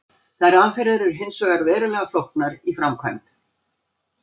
Þær aðferðir eru hins vegar verulega flóknar í framkvæmd.